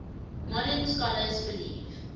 modern scholars believe